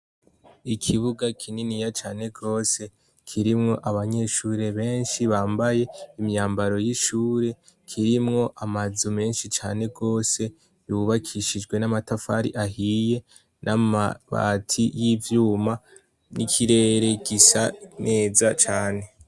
Ikibuga kinini ya cane rwose kirimwo abanyeshure benshi bambaye imyambaro y'ishure kirimwo amazu menshi cane rwose yubakishijwe n'amatafari ahiye n'amabati y'ivyuma n'ikirere gisa meza cane.